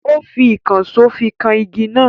Ó fi ìkànsó fi kan igi náà.